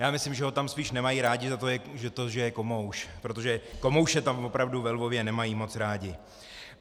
Já myslím, že ho tam spíš nemají rádi za to, že je komouš, protože komouše tam opravdu ve Lvově nemají moc rádi.